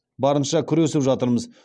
барынша күресіп жатырмыз